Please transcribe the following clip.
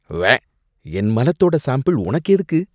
உவ்வே. என் மலத்தோட சாம்பிள் உனக்கு எதுக்கு?